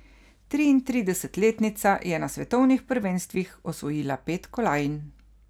Triintridesetletnica je na svetovnih prvenstvih osvojila pet kolajn.